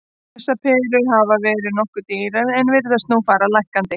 Þessar perur hafa verið nokkuð dýrar en virðast nú fara lækkandi.